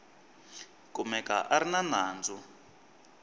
kumeka a ri na nandzu